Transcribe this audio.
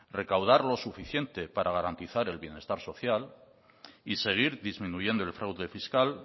recaudar lo suficiente para garantizar el bienestar social y seguir disminuyendo el fraude fiscal